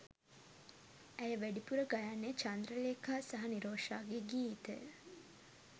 ඇය වැඩිපුර ගයන්නේ චන්ද්‍රලේඛා සහ නිරෝෂාගේ ගීතය